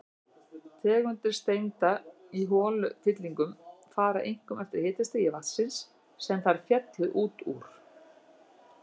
Tegundir steinda í holufyllingum fara einkum eftir hitastigi vatnsins, sem þær féllu út úr.